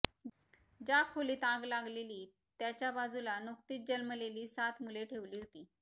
ज्या खोलीत आग लागली त्याच्या बाजूला नुकतीच जन्मलेली सात मुले ठेवली होती